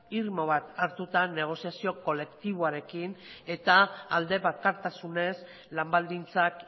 irmo bat hartuta negoziazio kolektiboarekin eta alde bakartasunez lan baldintzak